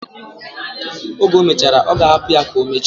Oge omechara, oga hapu ya ka omeche.